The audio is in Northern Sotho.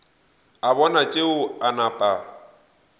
a bona tšeo a napa